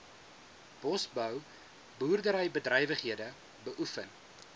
bosbou boerderybedrywighede beoefen